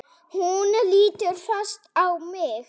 Hún lítur fast á mig.